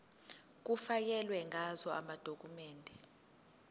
kufakelwe ngazo amadokhumende